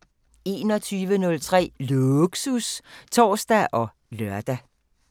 21:03: Lågsus (tor og lør)